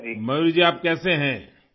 میور جی آپ کیسے ہیں؟